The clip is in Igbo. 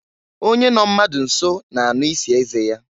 Onye nọ mmadụ nso na-anụ isi eze ya.